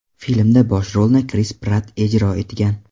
Filmda bosh rolni Kris Pratt ijro etgan.